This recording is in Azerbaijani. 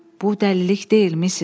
Bu dəlilik deyil, misis.